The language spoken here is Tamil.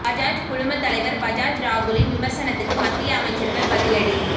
பஜாஜ் குழுமத் தலைவர் பஜாஜ் ராகுலின் விமர்சனத்துக்கு மத்திய அமைச்சர்கள் பதிலடி